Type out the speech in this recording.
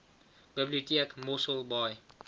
biblioteek mossel baai